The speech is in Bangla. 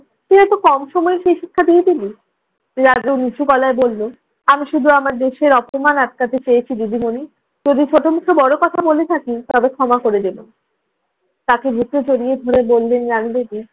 তুই এত কম সময়ে সেই শিক্ষা দিয়ে দিলি? রাজু নিচু গলায় বলল, আমি শুধু আমার দেশের অপমান আটকাতে চেয়েছি দিদিমণি। যদি ছোট মুখে বড় কথা বলে থাকি তবে ক্ষমা করে দিবেন। তাকে বুকে জড়িয়ে ধরে বললেন রানু ভেদি,